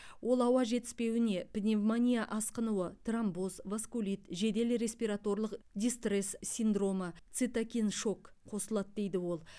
ол ауа жетіспеуіне пневмония асқынуы тромбоз васкулит жедел респираторлық дистресс синдромы цитокин шок қосылады дейді ол